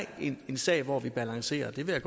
en sag hvor vi balancerer og det vil